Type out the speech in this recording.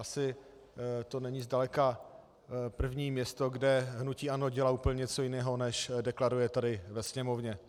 Asi to není zdaleka první město, kde hnutí ANO dělá úplně něco jiného, než deklaruje tady ve Sněmovně.